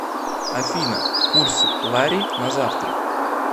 афина курс лари на завтра